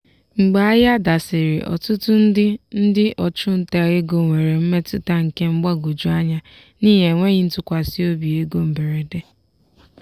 mgbe ahịa dasịrị ọtụtụ ndị ndị ọchụnta ego nwere mmetụta nke mgbagwoju anya n'ihi enweghị ntụkwasị obi ego mberede.